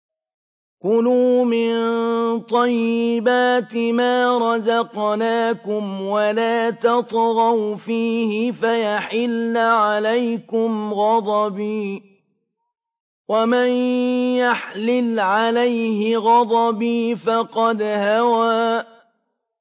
كُلُوا مِن طَيِّبَاتِ مَا رَزَقْنَاكُمْ وَلَا تَطْغَوْا فِيهِ فَيَحِلَّ عَلَيْكُمْ غَضَبِي ۖ وَمَن يَحْلِلْ عَلَيْهِ غَضَبِي فَقَدْ هَوَىٰ